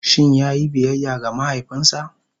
Shin ya yi biyayya ga mahaifinsa?